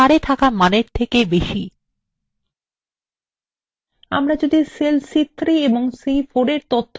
আমরা যদি cell c3 এবং c4 এর তথ্য পরিবর্তন করি তাহলে ফলএর পরিবর্তন data যাবে